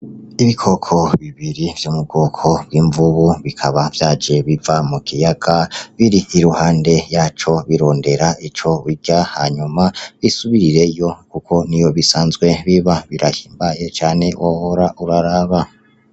Ibikoko bibiri vyo mu bwoko bw'imvubu bikaba vyaje biva mu kiyaga biri iruhande yaco birondera ico birya hanyuma bisubireyo kuko niho bisanzwe biba, birahimbaye cane wohora uraraba.